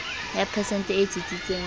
ya phesente e tsitsitseng ka